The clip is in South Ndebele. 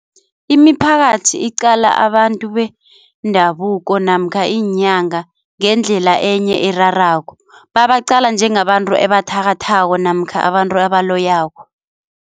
Imiphakathi iqala abantu bendabuko namkha iinyanga ngendlela enye erarako babaqala njengabantu ebathakathako namkha abantu abaloyako.